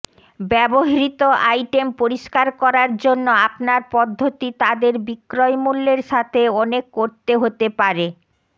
ব্যবহৃত আইটেম পরিষ্কার করার জন্য আপনার পদ্ধতি তাদের বিক্রয় মূল্যের সাথে অনেক করতে হতে পারে